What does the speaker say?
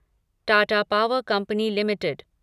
Tata power company limited